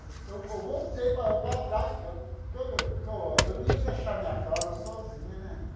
Eu vol eu voltei para para trás, porque todo que eu eu não ia deixar a minha casa sozinha, né?